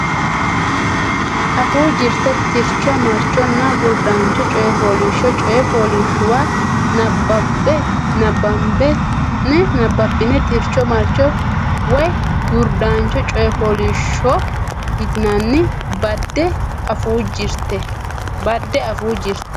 Afuu Jirte Tircho Marchonna Gurdancho Coy Fooliishsho coy fooliishshuwa nabbabbine tricho marcho woy gurdancho coy fooliishsho yitinanni badde Afuu Jirte.